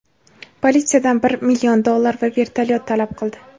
politsiyadan bir million dollar va vertolyot talab qildi.